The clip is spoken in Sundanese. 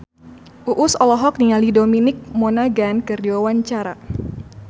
Uus olohok ningali Dominic Monaghan keur diwawancara